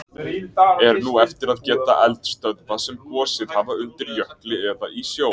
Er nú eftir að geta eldstöðva sem gosið hafa undir jökli eða í sjó.